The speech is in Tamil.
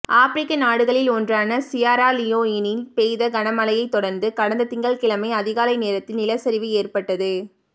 ஆப்பிரிக்க நாடுகளின் ஒன்றான சியரா லியோனில் பெய்த கனமழையை தொடர்ந்து கடந்த திங்கள் கிழமை அதிகாலை நேரத்தில் நிலச்சரிவு ஏற்பட்டது